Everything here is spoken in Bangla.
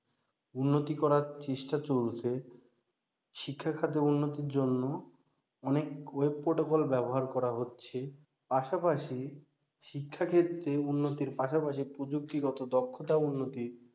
উন্নতি করার চেষ্টা চলছে শিক্ষা খাতে উন্নতির জন্য অনেক web protocol ব্যাবহার করা হচ্ছে পাশাপাশি শিক্ষাক্ষেত্রে উন্নতির পাশাপাশি প্রযুক্তিগত দক্ষতা উন্নতি